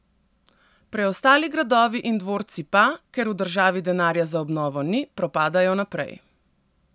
Preostali gradovi in dvorci pa, ker v državi denarja za obnovo ni, propadajo naprej.